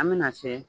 An bɛna se